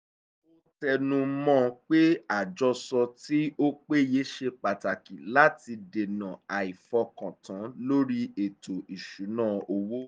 ó tẹnu mọ pé àjọsọ tí ó péye ṣe pàtàkì láti dènà àìfọkàntán lórí ètò ìṣúná owó